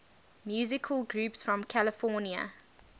musical groups from california